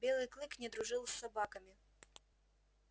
белый клык не дружил с собаками